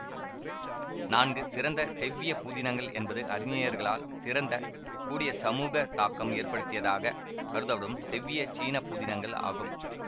நான்கு சிறந்த செவ்விய புதினங்கள் என்பது அறிஞர்களால் சிறந்த கூடிய சமூக தாக்கம் ஏற்படுத்தியதாகக் கருதப்படும் செவ்விய சீன புதினங்கள் ஆகும்